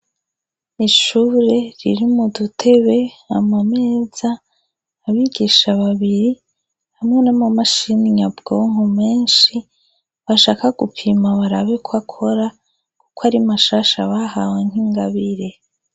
Ishure ririmwo udutebe, amameza, abigisha babiri, hamwe n' amamashini nyabwonko menshi, bashaka gupima barabe ko akora kuko ari mashasha bahawe nk' ingabire.